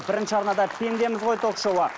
бірінші арнада пендеміз ғой ток шоуы